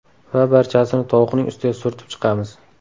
Va barchasini tovuqning ustiga surtib chiqamiz.